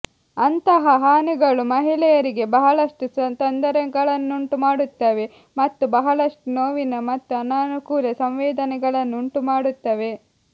ಅಂತಹ ಹಾನಿಗಳು ಮಹಿಳೆಯರಿಗೆ ಬಹಳಷ್ಟು ತೊಂದರೆಗಳನ್ನುಂಟುಮಾಡುತ್ತವೆ ಮತ್ತು ಬಹಳಷ್ಟು ನೋವಿನ ಮತ್ತು ಅನಾನುಕೂಲ ಸಂವೇದನೆಗಳನ್ನು ಉಂಟುಮಾಡುತ್ತವೆ